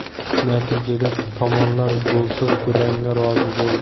Natijada tomonlar golsiz durangga rozi bo‘ldi.